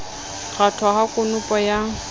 ho kgwathwa ha konopo ya